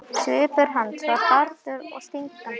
Svipur hans var harður og stingandi.